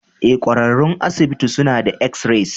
Ee, ƙwararrun asibiti suna yin x-rays.